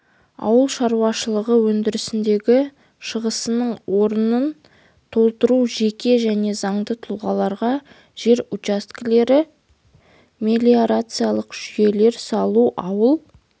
ауыл шаруашылығы өндірісіндегі шығасының орнын толтыру жеке және заңды тұлғаларға жер учаскелер мелиорациялық жүйелер салу ауыл